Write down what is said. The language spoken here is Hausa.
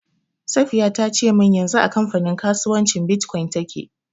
Safiya ta ce min yanzu a kamfanin kasuwancin Bitcoin take.